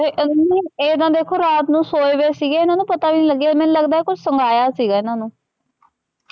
ਇਹ ਨਾ ਦੇਖੋ ਰਾਤ ਨੂ ਸੋਏ ਹੋਏ ਸੀਗੇ ਇਹਨਾ ਨੂ ਪਤਾ ਵੀ ਨਹੀ ਲਗਿਆ ਮੰਨੂ ਲਗਦਾ ਕੁਛ ਸੁਗਾਇਆ ਸੀਗਾ ਇਹਨਾ ਨੂੰ।